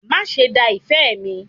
Máa ṣe da ìfẹ́ mi.